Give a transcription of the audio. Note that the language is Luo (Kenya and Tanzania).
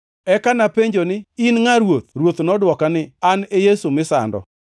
“Eka napenjo ni, ‘In ngʼa, Ruoth?’ “Ruoth to nodwoka ni, ‘An e Yesu misando.